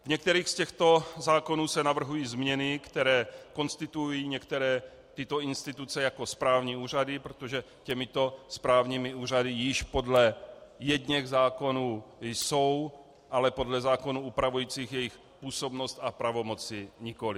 V některých z těchto zákonů se navrhují změny, které konstituují některé tyto instituce jako správní úřady, protože těmito správními úřady již podle jedněch zákonů jsou, ale podle zákonů upravujících jejich působnost a pravomoci nikoliv.